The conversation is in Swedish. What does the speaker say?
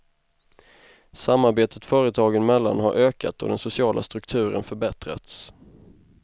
Samarbetet företagen emellan har ökat och den sociala strukturen förbättrats.